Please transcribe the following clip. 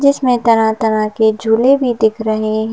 जिसमें तरह-तरह के झूले भी दिख रहे।